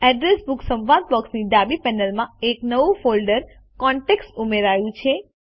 address book સંવાદ બોક્સની ડાબી પેનલમાં એક નવું ફોલ્ડર કોન્ટેક્ટ્સ ઉમેરાયું છે